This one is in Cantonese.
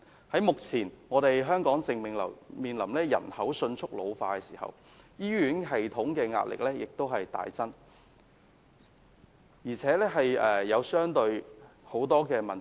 香港目前正面臨人口迅速老化，醫院系統的壓力亦大增，而且也出現了很多問題。